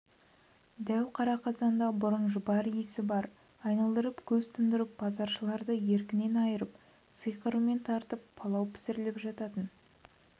дәу қара қазанда бұрын жұпар иісі бас айналдырып көз тұндырып базаршыларды еркінен айырып сиқырымен тартып палау пісіріліп жататын